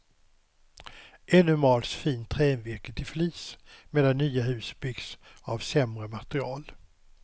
Ännu mals fint trävirke till flis, medan nya hus byggs av sämre material.